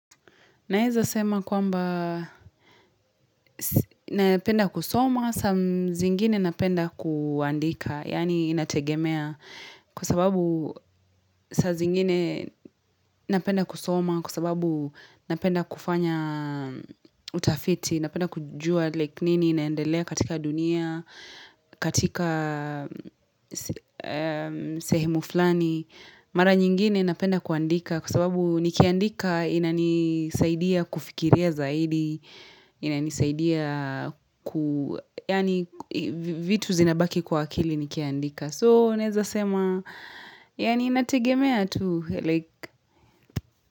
Naeza sema kwamba napenda kusoma, saa zingine napenda kuandika, yaani inategemea. Kwa sababu saa zingine napenda kusoma, kwa sababu napenda kufanya utafiti, napenda kujua like nini, inaendelea katika dunia, katika sehemu fulani. Mara nyingine napenda kuandika kwa sababu nikiandika inanisaidia kufikiria zaidi inanisaidia ku yaani vitu zinabaki kwa akili nikiandika so naeza sema yaani inategemea tu like.